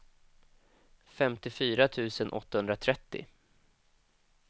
femtiofyra tusen åttahundratrettio